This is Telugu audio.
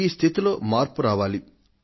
ఈ స్థితిలో మార్పు రావాలి